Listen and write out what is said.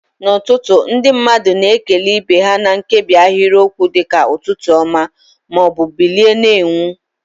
N'ụtụtụ, ndị mmadụ na-ekele ibe ha na nkebi ahịrịokwu dị ka "Ụtụtụ ọma" ma ọ bụ "Bilie na-enwu."